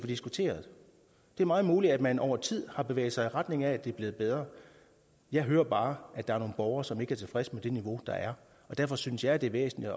diskuteret det er meget muligt at man over tid har bevæget sig i retning af at det er blevet bedre jeg hører bare at der er nogle borgere som ikke er tilfredse med det niveau der er og derfor synes jeg det er væsentligt